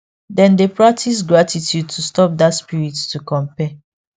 dem dey practice gratitude to stop that spirit to compare